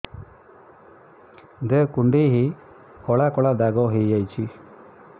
ଦେହ କୁଣ୍ଡେଇ ହେଇ କଳା କଳା ଦାଗ ହେଇଯାଉଛି